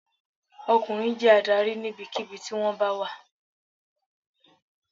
Ọkùnrin jẹ́ adarí níbikíbi tí wón bá wà